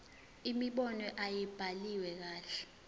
imibono ayibhaliwe kahle